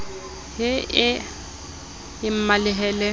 he e ye e mmalehele